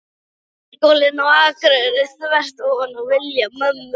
Menntaskólann á Akureyri, þvert ofan í vilja mömmu.